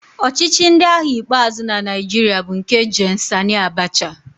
Ọchịchị ndị agha ikpeazụ na Naịjirịa bụ nke Gen Sani Abacha.